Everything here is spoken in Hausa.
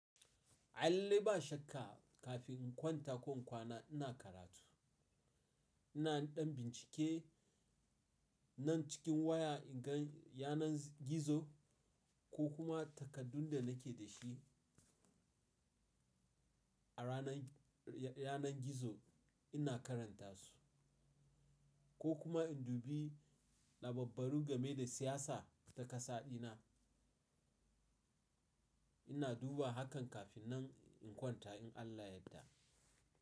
Allai ba shakka kafin in kwanta ko in kwana ina karatu. Ina ɗan bincike nan cikin waya in gan yanar gizo ko kuma takaddun da nake da shi. A ranan, yanar gizo ina karanta su ko kuma in dubi lababbaru game da siyasa ta kasaɗina. Ina duba hakan kafin nan in kwanta in Allah yadda.